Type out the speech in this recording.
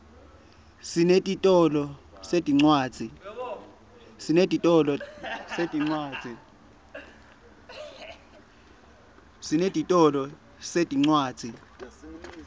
sinetitolo setincwadzi